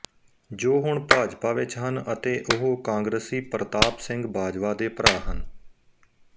ਜੋ ਹੁਣ ਭਾਜਪਾ ਵਿਚ ਹਨ ਅਤੇ ਉਹ ਕਾਂਗਰਸੀ ਪ੍ਰਤਾਪ ਸਿੰਘ ਬਾਜਵਾ ਦੇ ਭਰਾ ਹਨ